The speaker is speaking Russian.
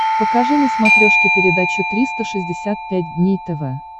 покажи на смотрешке передачу триста шестьдесят пять дней тв